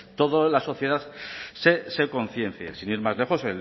toda la sociedad se conciencie sin ir más lejos se